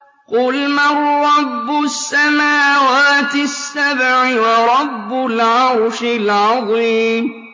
قُلْ مَن رَّبُّ السَّمَاوَاتِ السَّبْعِ وَرَبُّ الْعَرْشِ الْعَظِيمِ